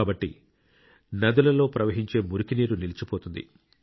కాబట్టి నదులలో ప్రవహించే మురికి నీరు నిలిచిపోతుంది